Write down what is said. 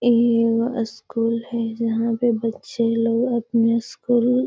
इ एगो स्कूल है जहां पे बच्चे लोग अपना स्कूल --